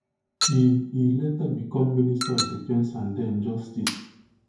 e e later become minister of defence and den justice